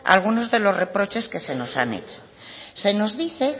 algunos de los reproches que se nos han hecho se nos dice